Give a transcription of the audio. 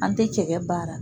An tɛ cɛkɛ baara.